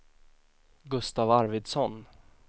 Gustav Arvidsson